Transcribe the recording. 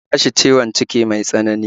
Ta tashi ciwon ciki mai tsanani